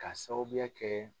K'a sababuya kɛ